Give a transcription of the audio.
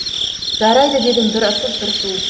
жарайды дедім бір ысып бір суып